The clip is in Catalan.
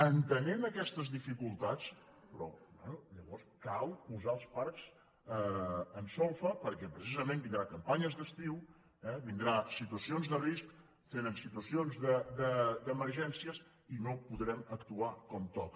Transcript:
entenent aquestes dificultats però llavors cal posar els parcs en solfa perquè precisament vindran campanyes d’estiu eh vindran situacions de risc tenen situacions d’emergències i no podrem actuar com toca